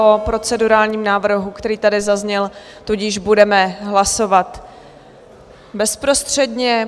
O procedurálním návrhu, který tady zazněl, tudíž budeme hlasovat bezprostředně.